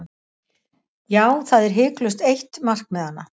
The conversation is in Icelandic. Já, það er hiklaust eitt markmiðanna.